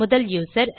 முதல் யூசர்